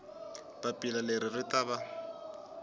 papila leri ri ta va